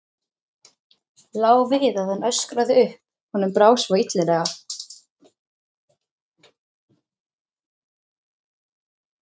Lá við að hann öskraði upp, honum brá svo illilega.